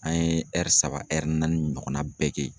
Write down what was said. An ye saba naani ɲɔgɔnna bɛɛ kɛ yen.